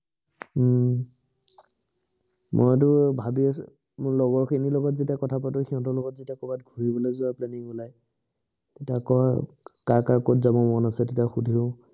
হম মইতো ভাবি আছোঁ। মোৰ লগৰ খিনিৰ লগত যেতিয়া কথা পাতো, সিহঁতৰ লগত যেতিয়া কৰবাত ঘূৰিবলৈ যোৱা planning ওলাই তেতিয়া কৈ কাৰ কাৰ কত যাব মন তেতিয়া সোধো।